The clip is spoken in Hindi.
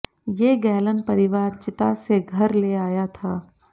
ये गैलन परिवार चिता से घर ले आया था